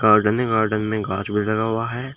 Garden ही garden में घास भी लगा हुआ है।